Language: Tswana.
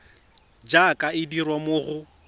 jaaka e dirwa mo go